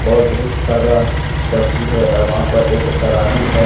और बहुत सारा सब्जी है और वहां पर एक तराजू है।